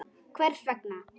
Hvers vegna?